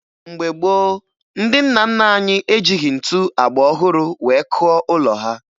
Mgbe gboo, ndị nna nna anyị ejighi ntu agba ọhụrụ wee kụọ ụlọ ha